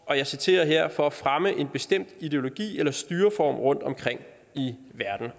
og jeg citerer her for at fremme en bestemt ideologi eller styreform rundtomkring i verden